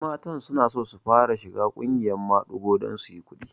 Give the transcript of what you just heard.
Wasu matan sunaso su fara shiga ƙungiyar maɗigo don suyi kuɗi